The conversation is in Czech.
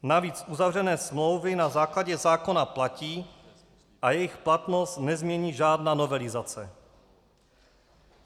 Navíc uzavřené smlouvy na základě zákona platí a jejich platnost nezmění žádná novelizace.